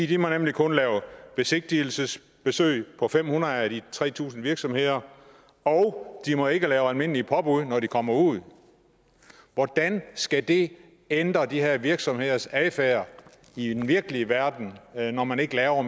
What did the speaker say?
de må nemlig kun lave besigtigelsesbesøg på fem hundrede af de tre tusind virksomheder og de må ikke lave almindelige påbud når de kommer ud hvordan skal det ændre de her virksomheders adfærd i den virkelige verden når man ikke laver